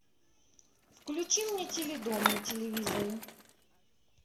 включи мне теледом на телевизоре